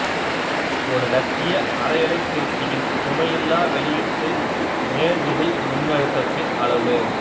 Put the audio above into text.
ஒரு இலட்சிய அரையலைத்திருத்தியின் சுமையில்லா வெளியீட்டு நேர்த்திசை மின்னழுத்தத்தின் அளவு